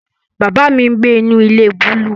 Baba mi ngbe inu ile buluu